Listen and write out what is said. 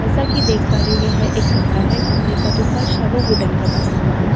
जैसा कि देख पा रही हूँ यह एक कमरा है कमरे का जो फर्श है वो वुडेन का बना हुआ है कमरे।